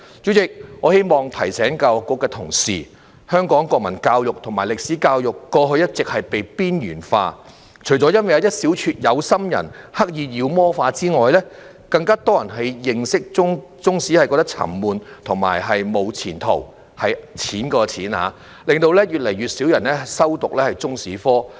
主席，我希望提醒教育局的同事，香港國民教育和歷史教育過去一直被邊緣化，除了因為一小撮有心人刻意把它妖魔化之外，更多人認為中史沉悶和"無錢途"——是金錢的"錢"——令越來越少人修讀中史科。